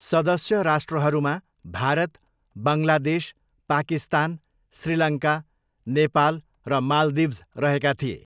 सदस्य राष्ट्रहरूमा भारत, बङ्गलादेश, पाकिस्तान, श्रीलङ्का, नेपाल र माल्दिभ्स रहेका थिए।